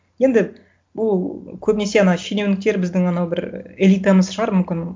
енді бұл көбінесе анау шенеуніктер біздің анау бір элитамыз шығар мүмкін